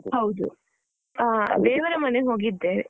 ಹೌದು. ಹಾ ದೇವರ ಮನೆ ಹೋಗಿದ್ದೆ.